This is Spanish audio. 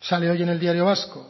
sale hoy en el diario vasco